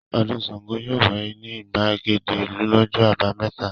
Ọdún Ṣàngó yóò wáyé ní ìgbàgede ìlú lọ́jọ́ àbámẹ́ta.